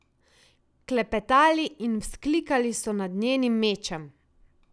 Klepetali in vzklikali so nad njenim mečem.